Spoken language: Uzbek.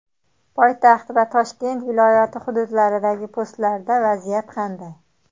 Poytaxt va Toshkent viloyati hududlaridagi postlarda vaziyat qanday?.